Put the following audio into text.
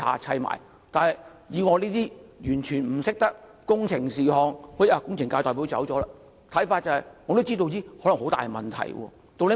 雖然我完全不懂得工程的事——工程界的代表不在席——我也知道可能會有很大問題。